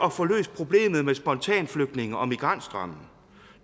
at få løst problemet med spontanflygtninge og migrantstrømmen